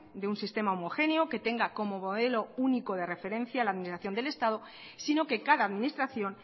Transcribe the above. de un sistema homogéneo que tenga como modelo único de referencia la administración del estado sino que cada administración